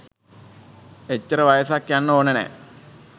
එච්චර වයසක් යන්න ඕන නෑ.